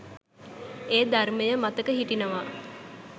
ඒ ධර්මය මතක හිටිනවා.